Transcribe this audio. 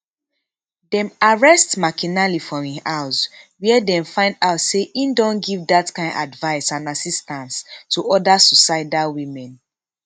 dem arrest mcinally for im house wia dem find out say e don give dat kain advice and assistance to oda suicidal women